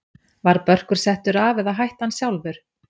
Var Börkur settur af eða hætti hann sjálfur?